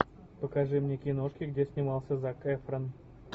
покажи мне киношки где снимался зак эфрон